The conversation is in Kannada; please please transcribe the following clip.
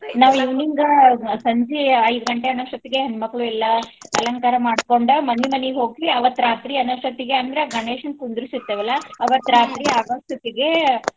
ನಾವ್ evening ಸಂಜಿ ಐದ್ ಗಂಟೆ ಅನ್ನೋಷ್ಟೊತ್ತಿಗೆ ಹೆಣ್ಮಕ್ಳು ಎಲ್ಲಾ ಅಲಂಕಾರ ಮಾಡ್ಕೊಂಡ ಮನಿ ಮನಿಗ್ ಹೋಗ್ತೀವಿ ಅವತ್ತ್ ರಾತ್ರಿ ಅನ್ನೋಷ್ಟತಿಗೆ ಅಂದ್ರ ಗಣೇಶನ ಕುಂದರ್ಸಿರ್ತೆವಲ್ಲಾ ಅವತ್ತ್ ಆಗೊಷ್ಟಿತ್ತಿಗೆ.